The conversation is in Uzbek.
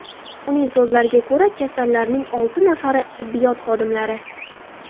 Uning so‘zlariga ko‘ra, kasallarning olti nafari tibbiyot xodimlari.